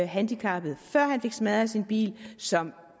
handicappet før han fik smadret sin bil som